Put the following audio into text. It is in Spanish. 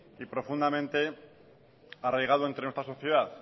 y profundamente arraigado entre nuestra sociedad